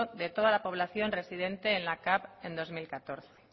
de toda la población residente en la capv en bi mila hamalau